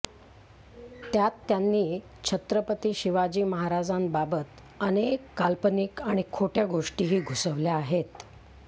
त्यात त्यांनी छत्रपती शिवाजी महाराजांबाबत अनेक काल्पनिक आणि खोटय़ा गोष्टीही घुसवल्या आहेत